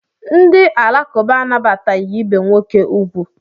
Ndị Alakụba anabataghị ibe nwoke ugwu.